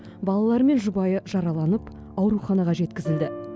балалары мен жұбайы жараланып ауруханаға жеткізілді